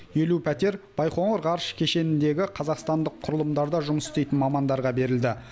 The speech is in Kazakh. елу пәтер байқоңыр ғарыш кешеніндегі қазақстандық құрылымдарда жұмыс істейтін мамандарға берілді